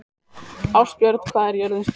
Ástbjörn, hvað er jörðin stór?